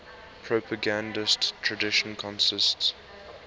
propagandist tradition consists